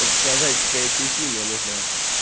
подсказать какая тебе химия нужна